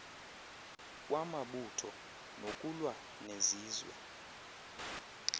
kwamabutho nokulwa nezizwe